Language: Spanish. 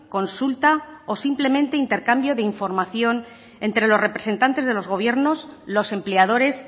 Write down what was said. consulta o simplemente intercambio de información entre los representantes del gobierno los empleadores